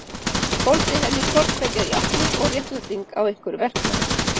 Fólst í henni hvort tveggja játning og réttlæting á einhverjum verknaði?